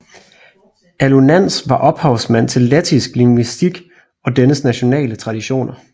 Alunāns var ophavsmand til lettisk lingvistik og dennes nationale traditioner